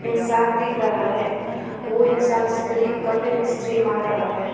इंसान दिख रहा है वो इंसान स्त्री कपड़े में स्त्री मार रहा है।